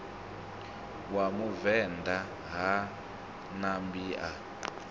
wa muvenḓa ha ṋambi a